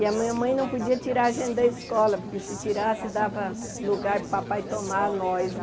E a minha mãe não podia tirar a gente da escola, porque se tirasse, dava lugar para o papai tomar nós.